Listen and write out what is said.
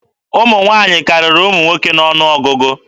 Ụmụ nwaanyị karịrị ụmụ nwoke n'ọnụ ọgụgụ.